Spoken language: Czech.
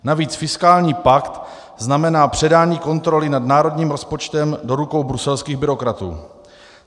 Navíc fiskální pakt znamená předání kontroly nad národním rozpočtem do rukou bruselských byrokratů.